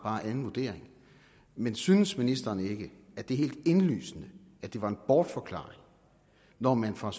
anden vurdering men synes ministeren ikke at det er helt indlysende at det var en bortforklaring når man fra